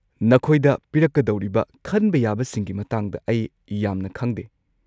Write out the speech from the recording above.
ꯅꯈꯣꯏꯗ ꯄꯤꯔꯛꯀꯗꯧꯔꯤꯕ ꯈꯟꯕ ꯌꯥꯕꯁꯤꯡꯒꯤ ꯃꯇꯥꯡꯗ ꯑꯩ ꯌꯥꯝꯅ ꯈꯪꯗꯦ꯫